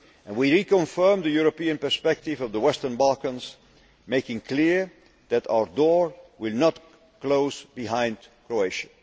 Union. We reconfirmed the European perspective of the Western Balkans, making clear that our door will not close behind Croatia.